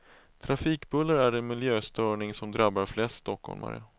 Trafikbuller är den miljöstörning som drabbar flest stockholmare.